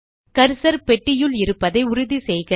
cursor பெட்டியுள் இருப்பதை உறுதி செய்க